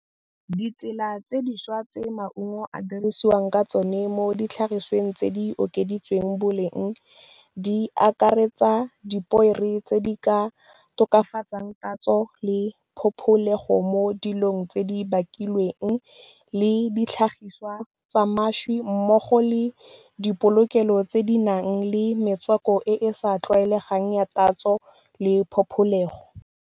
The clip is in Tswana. Ditsela tse dišwa tse maungo a dirisiwang ka tsone mo ditlhagisweng tse di okeditsweng boleng di akaretsa, dipoere tse di ka tokafatsang tatso le phopholego mo dilong tse di bakilweng le ditlhagiswa tsa mašwi mmogo le dipolokelo tse di nang le metswako e e sa tlwaelegang ya tatso le phopholego.